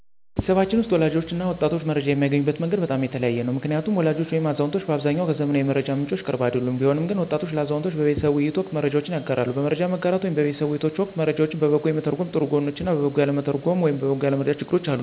ቤተሰባችን ውስጥ ወላጆች እና ወጣቶች መረጃ የሚያገኙበት መንገድ በጣም የተለያየ ነው። ምክንያቱም ወላጆች ወይም አዛውንቶች በአብዛኛው ከዘመናዊ የመረጃ ምንጮች ቅርብ አይደሉም። ቢሆንም ግን ወጣቶች ለአዛውንቶች በቤተሰብ ውይይት ወቅት መረጃዎችን ያጋራሉ። በመረጃ መጋራት ወይም በቤተሰብ ውይይቶች ወቅት መረጃውን በበጎ የመተርጎም ጥሩ ጎኖች እና በበጎ ያለመተርጎም ወይም በበጎ ያለመረዳት ችግሮች አሉ።